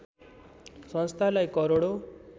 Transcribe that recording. संस्थालाई करोडौँ